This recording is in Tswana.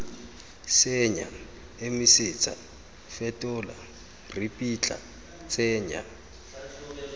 senya emisetsa fetola ripitla tsenya